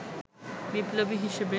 বিপ্লবী হিসেবে